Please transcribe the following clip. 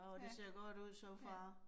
Ja, ja